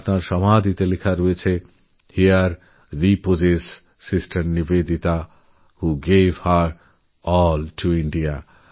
তাঁর সমাধির ওপরলেখা আছে হেরে রিপোজেস সিস্টার niveditaভো gave her all to India